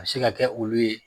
A se ka kɛ olu ye